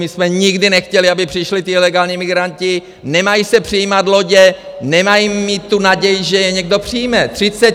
My jsme nikdy nechtěli, aby přišli ti ilegální migranti, nemají se přijímat lodě, nemají mít tu naději, že je někdo přijme!